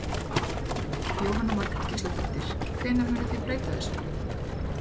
Jóhann Margrét Gísladóttir: Hvenær munið þið breyta þessu?